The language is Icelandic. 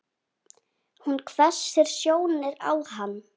Hún hvessir sjónir á hann.